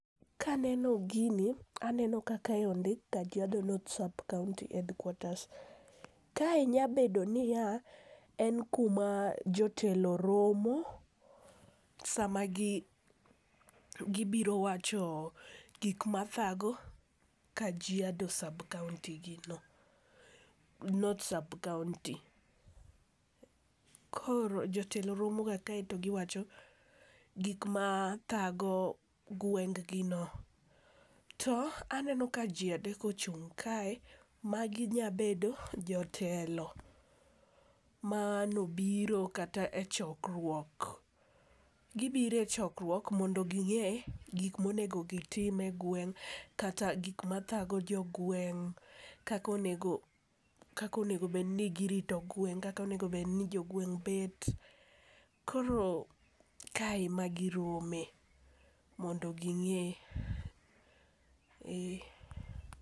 Kaneno gini, aneno ka kae ondik Kajiado North Subcounty Headquarters, Kae nya bedo niya, en kuma jotelo romo sama gibiro wacho gik mathago Kajiado North Subcounty. Koro jotelo romoga kae to giwacho gik ma thago gwenggino, to aneno ka ji adek ochung' kae, magi nyabedo jotelo manobiro kata e chokruok . Gibiro e chokruok mondo ging'e gik monego gitim e gweng' kata gik mathago jo gweng' ,kaka onego obedni girito gweng' ,kaka onego obedni jogweng' bet. Koro kae ema girome mondo ging'e.